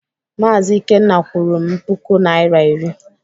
Maazị Ikenna kwụrụ m puku Naịra iri.